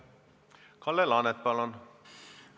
Kalle Laanet, palun!